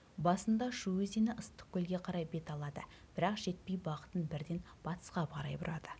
басында шу өзені ыстықкөлге қарай бет алады бірақ жетпей бағытын бірден батысқа қарай бұрады